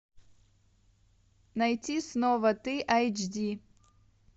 найти снова ты айч ди